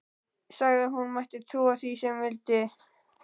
Sagði að hún mætti trúa því sem hún vildi.